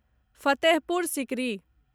Fatehpur Sikri